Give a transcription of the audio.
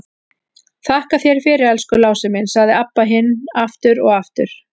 Þakka þér fyrir, elsku Lási minn, sagði Abba hin aftur og aftur.